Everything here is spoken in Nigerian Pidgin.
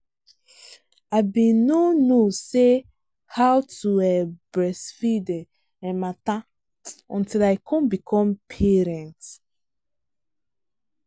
i been no no say how to um breastfeed um matter until i come become parent. um